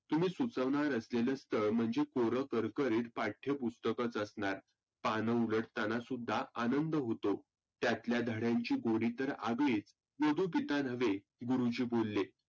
तुम्ही सुचवनार असलेल्या स्थळ म्हणजे कोरकरकरीत पाठ्य पुस्तकचं असनार. पानं उघडताना सुद्धा आनंद होतो. त्यातल्या धड्यांची तर गोडी आगळीच. वधु पिता नव्हे गुरुजी बोलले.